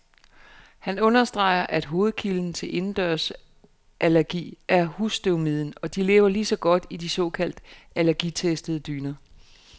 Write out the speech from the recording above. Han understreger, at hovedkilden til indendørsallergi er husstøvmiden, og de lever lige så godt i de såkaldt allergitestede dyner.